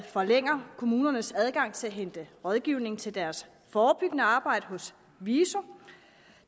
forlænger kommunernes adgang til at hente rådgivning til deres forebyggende arbejde hos viso